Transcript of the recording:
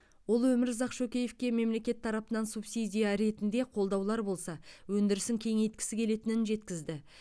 ол өмірзақ шөкеевке мемлекет тарапынан субсидия ретінде қолдаулар болса өндірісін кеңейткісі келетінін жеткізді